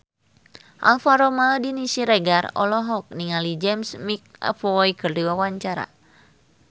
Alvaro Maldini Siregar olohok ningali James McAvoy keur diwawancara